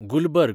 Gulberg